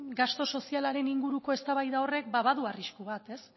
gastu sozialaren inguruko eztabaida horrek badu arrisku bat